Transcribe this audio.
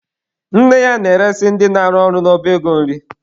Nne ya na-eresị ndị na-arụ ọrụ n'ọba ego nri.